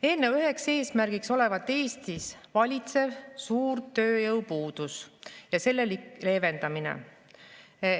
Eelnõu üks eesmärk olevat Eestis valitseva suure tööjõupuuduse leevendamine.